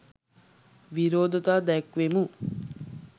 විරෝධතා දැක්වූවෙමු.